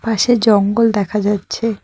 পাশে জঙ্গল দেখা যাচ্ছে।